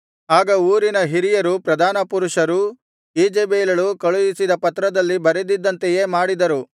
ಆಗ ಊರಿನ ಹಿರಿಯರು ಪ್ರಧಾನ ಪುರುಷರೂ ಈಜೆಬೆಲಳು ಕಳುಹಿಸಿದ ಪತ್ರದಲ್ಲಿ ಬರೆದಿದ್ದಂತೆಯೇ ಮಾಡಿದರು